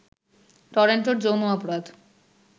টরেন্টোর যৌন অপরাধ